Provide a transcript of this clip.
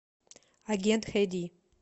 агент х ди